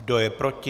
Kdo je proti?